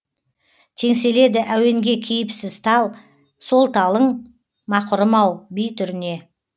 теңселеді әуенге кейіпсіз тал сол талың мақұрым ау би түріне